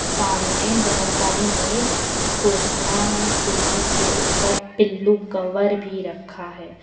सामने बहुत सारी मेज कुर्सियां हैं कुर्सी के ऊपर पिल्लू कवर भी रखा है।